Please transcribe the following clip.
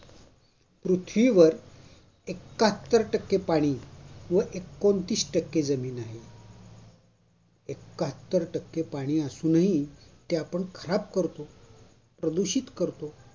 पृथ्वीवर एक्काहत्तर टक्के पाणी व एकोनतीस टक्के जमीन आहे. एक्काहत्तर टक्के पाणी असूनही ते आपण खराब करत प्रदूषित करतो